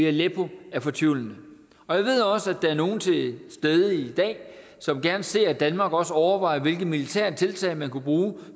aleppo er fortvivlende jeg ved også at der er nogle til stede i dag som gerne ser at danmark også overvejer hvilke militære tiltag man kunne bruge